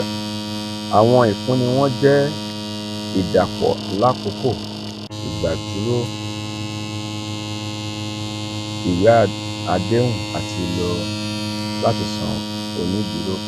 awọn ifunni wọn jẹ idapọ lakoko igbaduro iwe adehun ati lo lati san oniduro pada.